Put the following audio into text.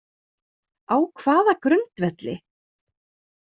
Á hvaða grundvelli?